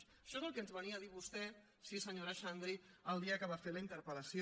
això és el que ens venia a dir vostè sí senyora xandri el dia que va fer la interpel·lació